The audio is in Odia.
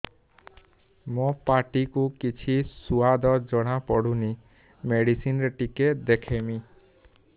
ମୋ ପାଟି କୁ କିଛି ସୁଆଦ ଜଣାପଡ଼ୁନି ମେଡିସିନ ରେ ଟିକେ ଦେଖେଇମି